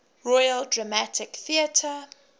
royal dramatic theatre